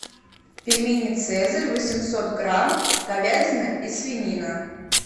пельмени цезарь восемьсот грамм говядина и свинина